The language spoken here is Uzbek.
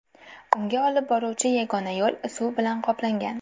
Unga olib boruvchi yagona yo‘l suv bilan qoplangan.